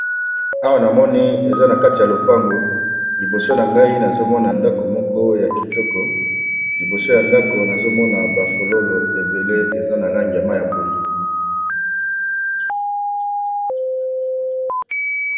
Awa namoni eza na kati ya lopango liboso nangai nazo Mona ndako ya kitoko liboso yandako nazomona ba fololo ebele eza na langi ya pondu.